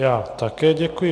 Já také děkuji.